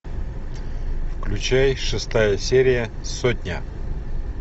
включай шестая серия сотня